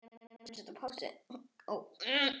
Þoldi ekki droll og leti.